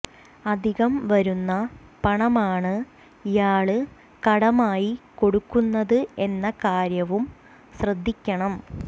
അധികം വരുന്ന പണമാണ് ഇയാള് കടമായി കൊടുക്കുന്നത് എന്ന കാര്യവും ശ്രദ്ധിക്കണം